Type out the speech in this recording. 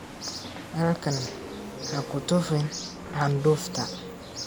Halkan ha ku tufin candufta.